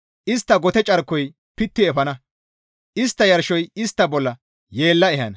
Istta gote carkoy pitti efana; istta yarshoy istta bolla yeella ehana.